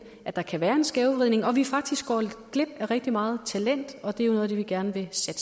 at der kan være en skævvridning og at vi faktisk går glip af rigtig meget talent og at det er noget af det vi gerne